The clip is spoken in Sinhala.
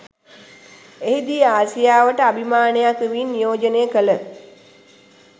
එහිදී ආසියාවට අභිමානයක් වෙමින් නියෝජනය කළ